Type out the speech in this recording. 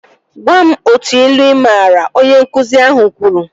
Gwam otu ilu ị maara! Onye nkụzi ahụ kwuru